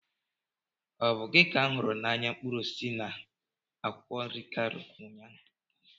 Ọ bụ gị ka m hụrụ na ahịa mkpụrụ osisi na akwụkwọ nri Kano ụnyaahụ?